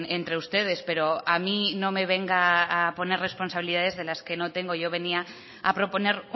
entre ustedes pero a mí no me venga a poner responsabilidades que no tengo yo venía a proponer